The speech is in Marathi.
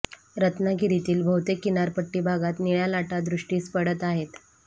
रत्नागिरीतील बहुतेक किनारपट्टी भागात निळ्या लाटा दृष्टीस पडत आहेत